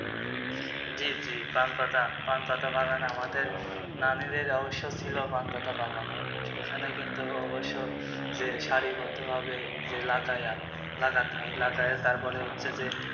জি জি পান পাতা পান পাতা বাগান আমাদের নানীদের অবশ্য় ছিল পান পাতার বাগান। ওখানে কিন্তু অবশ্য যে সারিবদ্ধভাবে যে লাগায়া লাগতে হয় লাগিয়ে তারপরে হচ্ছে যে,